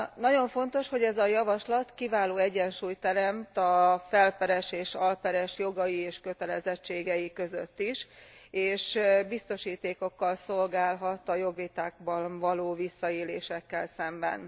Nagyon fontos, hogy ez a javaslat kiváló egyensúlyt teremt a felperes és alperes jogai és kötelezettségei között is, és biztosítékokkal szolgálhat a jogvitákban való visszaélésekkel szemben.